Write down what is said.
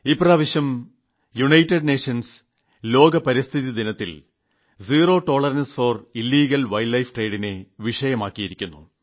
ഇപ്രാവശ്യം ഐക്യരാഷ്ട്രസഭ ലോക പരിസ്ഥിതി ദിനത്തിൽ zero tolerance for illegal wildlife trade നെ വിഷയമാക്കിയിരിക്കുന്നു